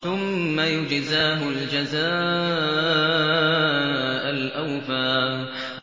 ثُمَّ يُجْزَاهُ الْجَزَاءَ الْأَوْفَىٰ